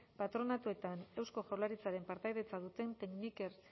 patronatoetan eusko jaurlaritzaren partaidetza duten tekniker